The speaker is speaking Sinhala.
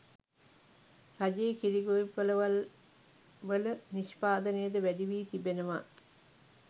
රජයේ කිරි ගොවිපළවල්වල නිෂ්පාදනයද වැඩි වී තිබෙනවා